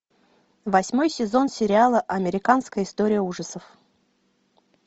восьмой сезон сериала американская история ужасов